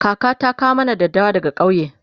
kaka ta kawo mana daddawa daga kauye